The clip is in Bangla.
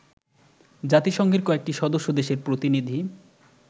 জাতিসংঘের কয়েকটি সদস্য দেশের প্রতিনিধি